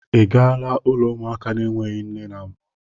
Ị gaala ụlọ ụmụaka na-enweghị nne na mbụ?